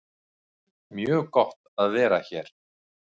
Mjög gott að vera hér